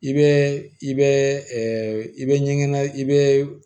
I bɛ i bɛ i bɛ ɲɛgɛn i bɛ